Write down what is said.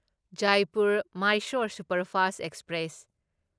Jaipur Mysore superfast express